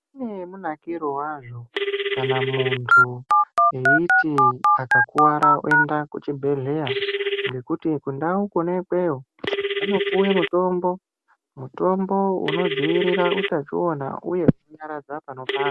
Zvine munakiro wazvo kana muntu eiti akakuwara oenda kuchibhedhlera ngokuti kundau kona ikweyo vanopuwa mutombo unodzivirira utachiona uye kunyaradza panopanda.